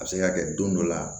A bɛ se ka kɛ don dɔ la